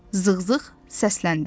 Zığzığ səsləndi.